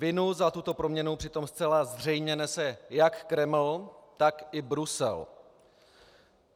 Vinu za tuto proměnu přitom zcela zřejmě nese jak Kreml, tak i Brusel.